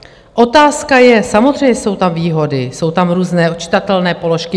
Otázka je, samozřejmě jsou tam výhody, jsou tam různé odčitatelné položky.